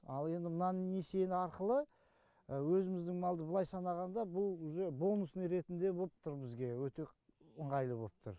ал енді мынаны несиені арқылы өзіміздің малды былай санағанда бұл уже бонусный ретінде боп тұр бізге өте ыңғайлы боп тұр